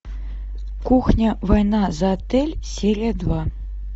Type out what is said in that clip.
кухня война за отель серия два